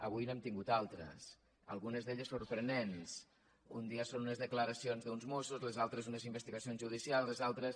avui n’hem tingut d’altres algunes d’elles sorprenents un dia són unes declaracions d’uns mossos uns altres unes investigacions judicials uns altres